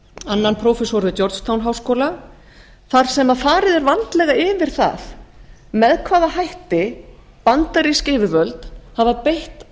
annan prófessor við georgetown háskóla þar sem farið er vandlega fyrir það með hvaða hætti bandarísk yfirvöld hafa beitt